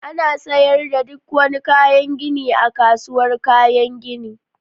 Ana siyar da duk wani kayan gini a kasuwar kayan gini